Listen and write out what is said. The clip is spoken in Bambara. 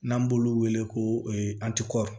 N'an b'olu wele ko